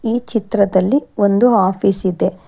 ಈ ಚಿತ್ರದಲ್ಲಿ ಒಂದು ಆಫೀಸ್ ಇದೆ.